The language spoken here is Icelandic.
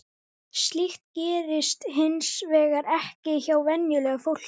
Slíkt gerist hins vegar ekki hjá venjulegu fólki.